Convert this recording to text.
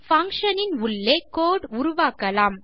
function னின் உள்ளே code உருவாக்கலாம்